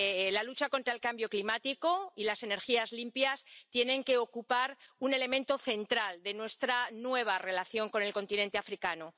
La lucha contra el cambio climático y las energías limpias tienen que ocupar un elemento central de nuestra nueva relación con el continente africano.